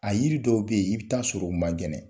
A yiri dɔw bɛ yen i bɛ taa sɔrɔ u man kɛnɛ